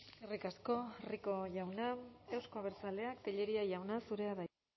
eskerrik asko rico jauna euzko abertzaleak tellería jauna zurea da hitza